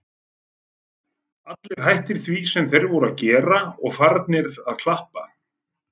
Allir hættir því sem þeir voru að gera og farnir að klappa.